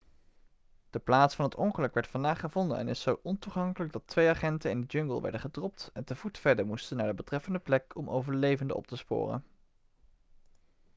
de plaats van het ongeluk werd vandaag gevonden en is zo ontoegankelijk dat twee agenten in de jungle werden gedropt en te voet verder moesten naar de betreffende plek om overlevenden op te sporen